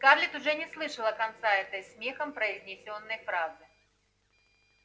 скарлетт уже не слышала конца этой смехом произнесённой фразы